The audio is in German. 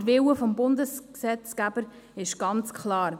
Der Wille des Bundesgesetzgebers ist ganz klar.